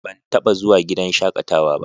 Ban taɓa zuwa gidan shaƙatawa ba.